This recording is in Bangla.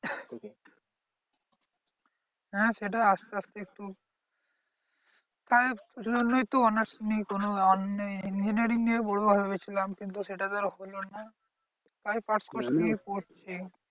হ্যাঁ সেটাই আসতে আসতে খুব তাই জন্যেই তো honours নেই কোনো আর নেই। engineering নিয়ে পড়বো ভেবেছিলাম কিন্তু সেটা তো আর হলো না। তাই pass course নিয়ে পড়ছি।